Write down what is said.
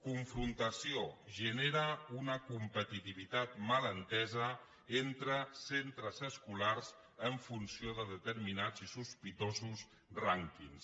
confrontació genera una competitivitat mal entesa entre centres escolars en funció de determinats i sospitosos rànquings